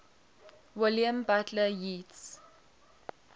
william butler yeats